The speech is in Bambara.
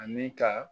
Ani ka